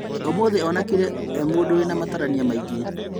ũmũthĩ onekanire mũndũ ĩrĩ na matarania maingĩ